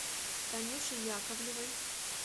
танюши яковлевой